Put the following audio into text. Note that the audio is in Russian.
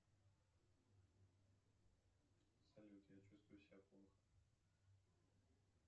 салют я чувствую себя плохо